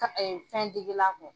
ka Fɛndegela kun.